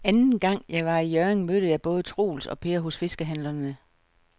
Anden gang jeg var i Hjørring, mødte jeg både Troels og Per hos fiskehandlerne.